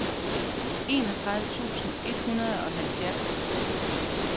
enogtredive tusind et hundrede og halvfjerds